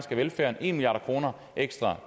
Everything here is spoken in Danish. af velfærden en milliard kroner ekstra